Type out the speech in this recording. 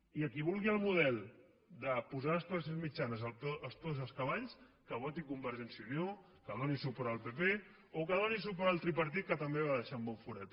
i a qui vulgui el model de posar les classes mitjanes als peus dels cavalls que voti convergència i unió que doni suport al pp o que doni suport al tripartit que també va deixar un bon forat